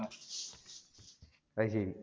അതുശരി